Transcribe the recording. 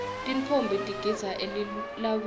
tintfombi tigidza elilawini